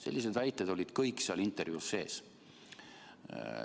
Sellised väited olid kõik seal intervjuus sees.